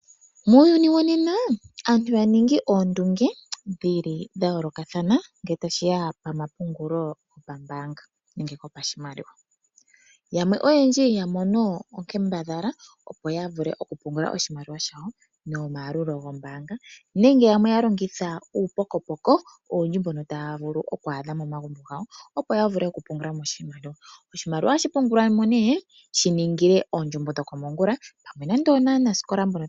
Muuyuni wonena aantu ya ningi oondunge dha yolokathana ngele tashi ya pamapungulo gopashimaliwa, yamwe oyendji ya ningi oonkambadhala okupungula iimaliwa yawo nomayalulu goombanga nayamwe ohaa longitha uupokopoko mboka taya adha momagumbo ngawo, opo ya vule okupungula mo iimaliwa, niimaliwa ohayi pungulilwa oondjumbo dhokomongula.